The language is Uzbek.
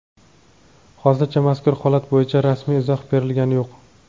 Hozircha mazkur holat bo‘yicha rasmiy izoh berilgani yo‘q.